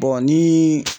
ni